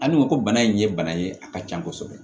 Ani u ko ko bana in ye bana ye a ka can kosɛbɛ